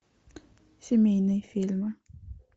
семейные фильмы